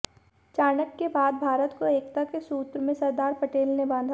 चाणक्य के बाद भारत को एकता के सूत्र में सरदार पटेल ने बांधा